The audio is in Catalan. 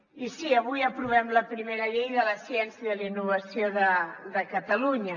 i sí avui aprovem la primera llei de la ciència i de la innovació de catalunya